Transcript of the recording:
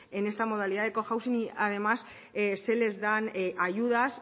en esta modalidad de cohousing y además se les dan ayudas